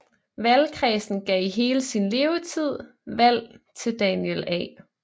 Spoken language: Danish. Valgkredsen gav i hele sin levetid valg til Daniel A